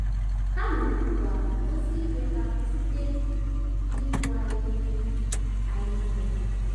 Ha mere ngwa gosị iwe ha site n’ịkụ anyị ihe anyị ihe.